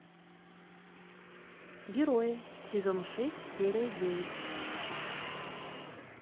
герои сезон шесть серия девять